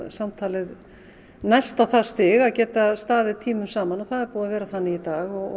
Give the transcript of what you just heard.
samtalið næst á það stig að geta staðið tímum saman og það hefur verið þannig í dag og